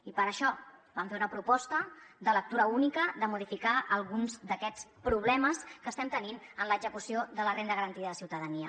i per això vam fer una proposta de lectura única de modificar alguns d’aquests problemes que estem tenint en l’execució de la renda garantida de ciutadania